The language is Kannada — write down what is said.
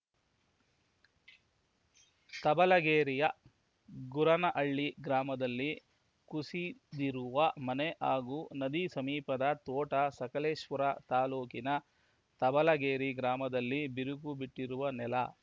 ತಂಬಲಗೇರಿಯ ಗುರನಹಳ್ಳಿ ಗ್ರಾಮದಲ್ಲಿ ಕುಸಿದಿರುವ ಮನೆ ಹಾಗೂ ನದಿ ಸಮೀಪದ ತೋಟ ಸಕಲೇಶಪುರ ತಾಲೂಕಿನ ತಂಬಲಗೇರಿ ಗ್ರಾಮದಲ್ಲಿ ಬಿರುಕು ಬಿಟ್ಟಿರುವ ನೆಲ